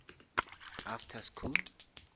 after school